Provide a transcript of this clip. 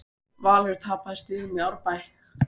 Valur tapaði stigum í Árbæ